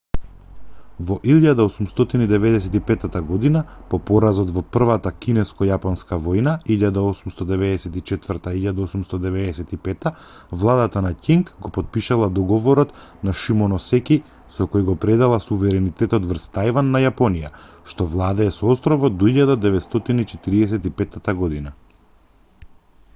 во 1895 година по поразот во првата кинеско-јапонска војна 1894-1895 владата на ќинг го потпишала договорот на шимоносеки со кој го предала суверенитетот врз тајван на јапонија што владее со островот до 1945 година